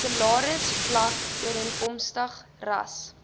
salarisvlak ooreenkomstig ras